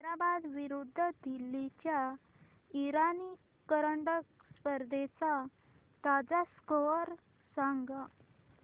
हैदराबाद विरुद्ध दिल्ली च्या इराणी करंडक स्पर्धेचा ताजा स्कोअर सांगा